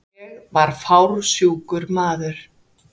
Ég var fársjúkur maður.